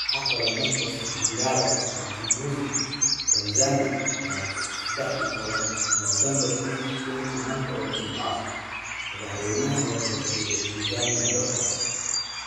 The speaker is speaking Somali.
Waxaa qoray Markus Mpangala Mchambuzi, Tanzania 13 Noofambar 2020 Maanta oo Jimco ah, madaxweynaha la doortay ee Tanzania, Dr.